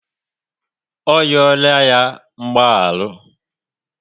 Ọ riola ya mgbaharu